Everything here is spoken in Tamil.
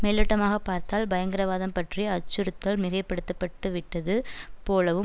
மேலோட்டமாக பார்த்தால் பயங்கரவாதம் பற்றிய அச்சுறுத்தல் மிகைப்படுத்தப்பட்டு விட்டது போலவும்